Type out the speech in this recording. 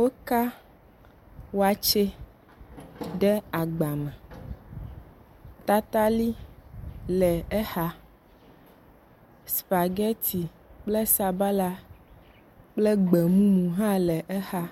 Woka wakye ɖe agba me, tatali le exa, spaghetti kple sabala kple gbe mumu hã le exa.